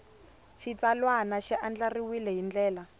xitsalwana xi andlariwile hi ndlela